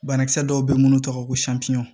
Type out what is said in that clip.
Banakisɛ dɔw bɛ yen minnu tɔgɔ ko